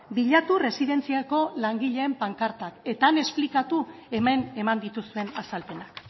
bilatu erresidentziako langileen pankartak eta han esplikatu hemen eman dituzuen azalpenak